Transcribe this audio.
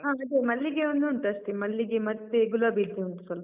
ಹೌದು ಅದೇ, ಮಲ್ಲಿಗೆ ಒಂದುಂಟು ಅಷ್ಟೇ. ಮಲ್ಲಿಗೆ ಮತ್ತೆ ಗುಲಾಬಿದ್ದುಂಟು ಸ್ವಲ್ಪ.